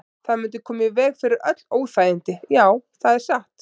Það mundi koma í veg fyrir öll óþægindi, já, það er satt.